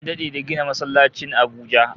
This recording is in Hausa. An dade da gina masallacin Abuja